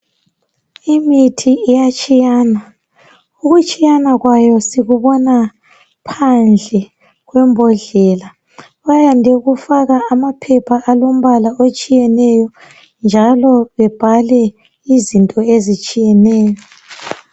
Imithi iyatshiyana .ukutshiyana kwayo sikubona phandle kwembodlela . Bayande ukufaka amaphepha alembala otshiyeneyo njalo bebhale izinto ezitshiyeneyo .